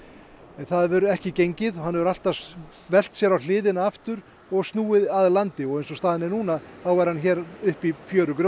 en það hefur ekki gengið og hann hefur alltaf velt sér yfir á hliðina aftur og snúið að landi og eins og staðan er núna þá er hann hér uppi í